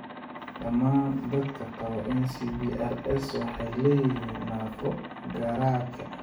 Dhammaan dadka qaba NCBRS waxay leeyihiin naafo garaadka.